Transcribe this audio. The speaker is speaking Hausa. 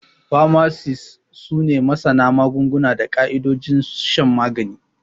Famasis su ne masana magunguna da ƙaidojin shan magani.